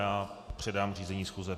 Já předám řízení schůze.